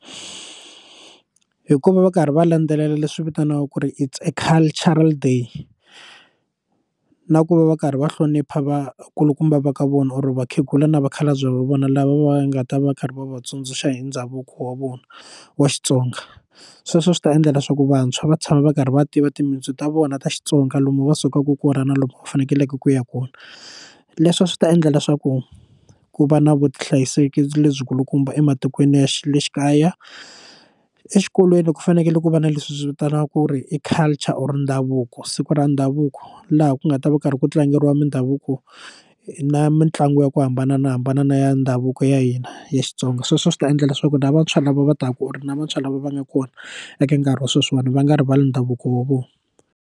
Hikuva va karhi va landzelela leswi vitaniwaka ku ri is a cultural day na ku va va karhi va hlonipha va kulukumba va ka vona or vakhegula na vakhalabye va vona lava va nga ta va karhi va va tsundzuxa hi ndhavuko wa vona wa Xitsonga sweswo swi ta endla leswaku vantshwa va tshama va karhi va tiva timitsu ta vona ta Xitsonga lomu va sukaka kona na lomu va fanekeleke ku ya kona leswi swi ta endla leswaku ku va na vuhlayiseki lebyikulukumba ematikweni ya le xi kaya exikolweni ku fanekele ku va na leswi hi swi vitanaka ku ri i culture or ndhavuko siku ra ndhavuko laha ku nga ta va karhi ku tlangeriwa mindhavuko na mitlangu ya ku hambana na hambana na ya ndhavuko ya hina ya Xitsonga sweswo swi ta endla leswaku na vantshwa lava va taka u ri na vantshwa lava va nga kona eka nkarhi wa sweswiwani va nga rivali ndhavuko wa vona.